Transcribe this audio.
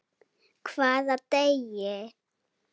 Hvaða degi?